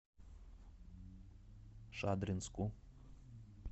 шадринску